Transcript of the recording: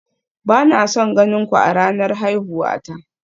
Ba na son ganin ku a ranar haihuwa ta